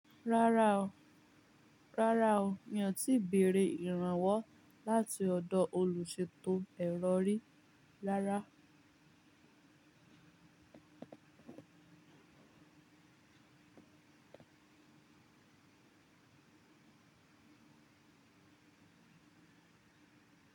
Rárá o, rárá o, mi ò tíì bèrè ìrànwọ́ láti ọ̀dọ̀ olùṣètò erọ̀ rí rárá.